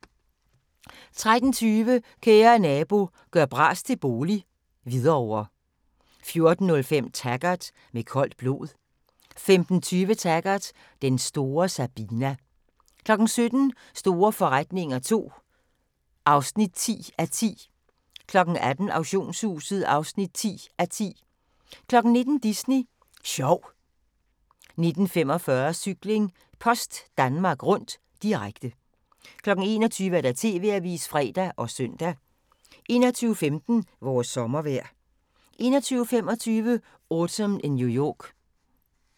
13:20: Kære Nabo – gør bras til bolig - Hvidovre 14:05: Taggart: Med koldt blod 15:20: Taggart: Den store Sabina 17:00: Store forretninger II (10:10) 18:00: Auktionshuset (10:10) 19:00: Disney Sjov 19:45: Cykling: Post Danmark Rundt, direkte 21:00: TV-avisen (fre og søn) 21:15: Vores sommervejr 21:25: Autumn in New York